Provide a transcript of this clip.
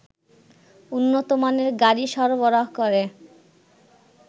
উন্নতমানের গাড়ি সরবরাহ করে